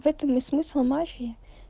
в этом и смысл мафии